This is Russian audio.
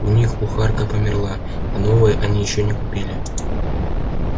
у них кухарка померла а новой они ещё не купили